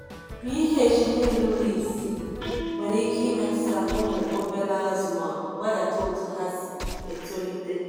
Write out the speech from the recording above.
pH n'erughi isii nwere ike imetuta ụmụ obere azụ ma wedata otu ha si etolite.